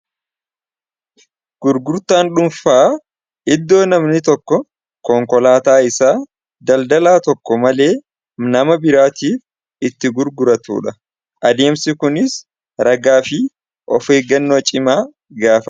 Gurgurtaan dhuunfaa iddoo namni tokko konkolaataa isaa daldalaa tokko malee nama biraatiif itti gurguratudha adeemsi kunis ragaa fi of eeggannoo cimaa gaafa.